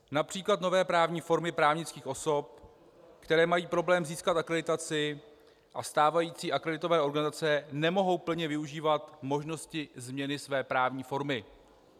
Například nové právní formy právnických osob, které mají problém získat akreditaci a stávající akreditované organizace, nemohou plně využívat možnosti změny své právní formy.